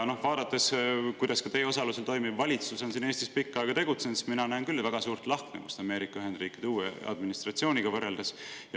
Vaadates, kuidas ka teie osalusel toimiv valitsus on siin Eestis pikka aega tegutsenud, näen mina küll väga suurt lahknevust Ameerika Ühendriikide uue administratsiooniga võrreldes.